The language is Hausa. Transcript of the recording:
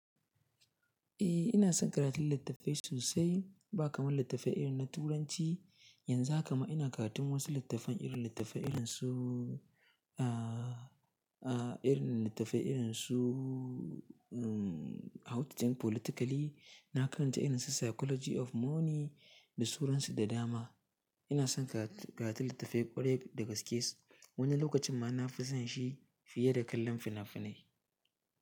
Eh ina son karatun littattafai sosai, ba kamar littattafan irin na Turanci. Yanzu haka ma ina karatun wasu littattafan irin littattafai irin su, a, a irin littattafai irin su, umm How to change Politically. Na karanta irin su Psychology of Money da suransu da dama. Ina son karatu littattafai ƙwarai da gaske. Wani lokacin ma na fi son shi fiye da kallon fina-finai.